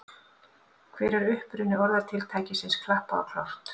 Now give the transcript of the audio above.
Hver er uppruni orðatiltækisins klappað og klárt?